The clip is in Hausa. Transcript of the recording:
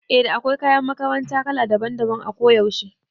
Eh da akwai kayan makaranta kala daban daban a kuyaushe